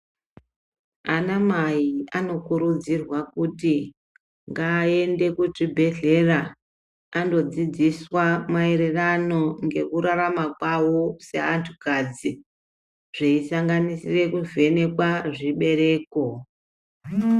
Anamai anokurudzirwa kuti ngaaende kuchibhedhleya andodzidziswa maererano ngekurarama kwawo seantukadzi zveisanganisira kuvhenekwa zvibereko.